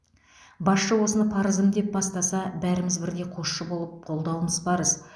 басшы осыны парызым деп бастаса бәріміз бірдей қосшы болып қолдауымыз парыз